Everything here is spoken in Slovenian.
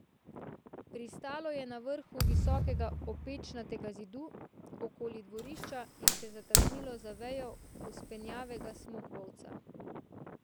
Pristalo je na vrhu visokega opečnatega zidu okoli dvorišča in se zataknilo za vejo vzpenjavega smokvovca.